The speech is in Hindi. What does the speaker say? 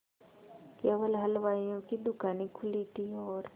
केवल हलवाइयों की दूकानें खुली थी और